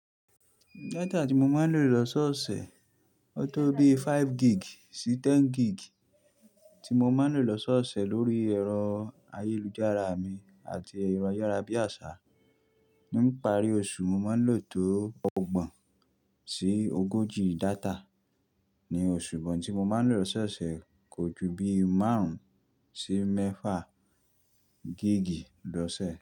Data tí mo máa ń lò lọ́sọ́ọ̀sẹ̀, ó tó bí five gig sí ten gig tí mo máa ń lò lọ́sọ́ọ̀sẹ̀ lórí ẹ̀rọ ayélujára mi àti ẹ̀rọ ayárabíàṣá. Nípa rí oṣù, mo máa ń lò tó ọgbọ̀n sí ogójì data. Ní oṣù but intí mo máa ń lò lọ́sọ́ọ̀sẹ̀ kò ju bí márùn-ún sí mẹ́fà gig lọ́sẹ̀